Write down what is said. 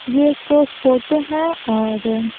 ये एक फोटो है और--